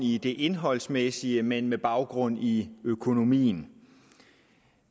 i det indholdsmæssige men med baggrund i økonomien